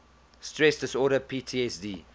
stress disorder ptsd